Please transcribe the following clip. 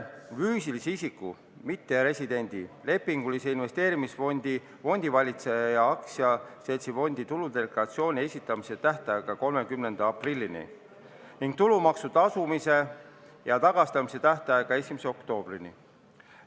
Füüsilise isiku, mitteresidendi, lepingulise investeerimisfondi fondivalitseja ja aktsiaseltsifondi tuludeklaratsiooni esitamise tähtaega pikendatakse 30. aprillini ning tulumaksu tasumise ja tagastamise tähtaega 1. oktoobrini.